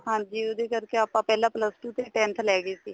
ਹਾਂਜੀ ਉਹਦੇ ਕਰਕੇ ਆਪਾਂ ਪਹਿਲਾਂ plus two ਤੇ tenth ਲੈ ਗਏ ਸੀ